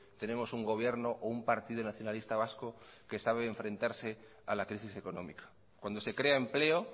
tenemos un gobierno o un partido nacionalista vasco que sabe enfrentarse a la crisis económica cuando se crea empleo